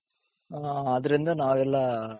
ಅದರಿಂದ ನಾವೆಲ್ಲಾ,